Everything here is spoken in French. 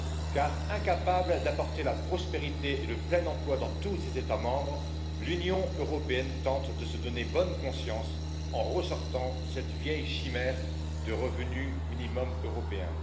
Car incapable d'apporter la prospérité et le plein emploi dans tous ses États membres, l'Union européenne tente de se donner bonne conscience en ressortant cette vieille chimère du revenu minimum européen.